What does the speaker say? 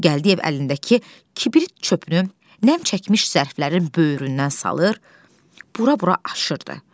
Gəldiyev əlindəki kibrit çöpünü nə çəkmiş zərflərin böyründən salır, bura-bura aşırdı.